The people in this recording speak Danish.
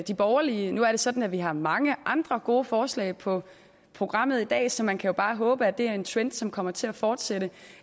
de borgerlige nu er det sådan at vi har mange andre gode forslag på programmet i dag så man kan jo bare håbe at det er en trend som kommer til at fortsætte